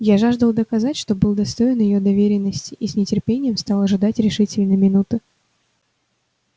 я жаждал доказать что был достоин её доверенности и с нетерпением стал ожидать решительной минуты